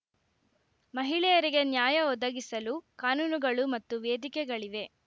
ಮಹಿಳೆಯರಿಗೆ ನ್ಯಾಯ ಒದಗಿಸಲು ಕಾನೂನುಗಳು ಮತ್ತು ವೇದಿಕೆಗಳಿವೆ